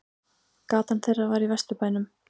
Gatan þeirra var í Vesturbænum.